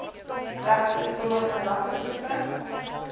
regte sommige rassegroepe